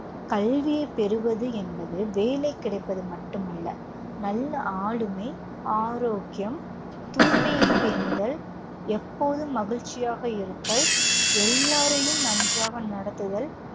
கல்வியை பெறுவது என்பது வேலை கிடைப்பது மட்டுமல்ல, நல்ல ஆளுமை, ஆரோக்கியம், தூய்மையைப் பேணுதல், எப்போதும் மகிழ்ச்சியாக இருத்தல், எல்லோரையும் நன்றாக நடத்துதல்,